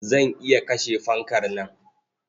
Zan iya kashe fankar nan.